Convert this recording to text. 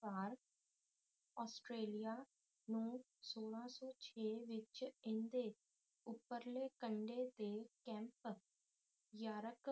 ਵਾਰੀ ਆਸਟ੍ਰੇਲੀਆ ਨੂੰ ਸੋਲਹਾ ਸੌ ਛੇ ਦੇ ਵਿੱਚ ਏਦੇ ਉੱਪਰਲੇ ਕੰਡੇ ਤੇ ਕੈਪ ਯਾਰਕ